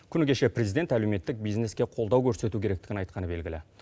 күні кеше президент әлеуметтік бизнеске қолдау көрсету керектігін айтқаны белгілі